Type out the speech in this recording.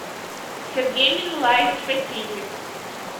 сергей минлаевич васильев